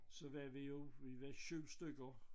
Så var vi jo vi var 7 stykker